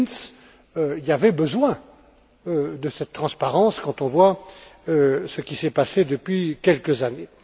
Klinz, il y avait besoin de cette transparence quand on voit ce qui s'est passé depuis quelques années.